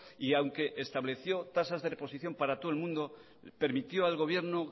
y aunque estableció tasas de reposición para todo el mundo permitió al gobierno